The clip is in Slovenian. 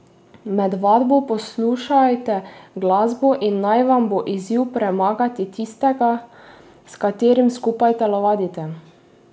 Med vadbo poslušajte glasbo in naj vam bo izziv premagati tistega, s katerim skupaj telovadite.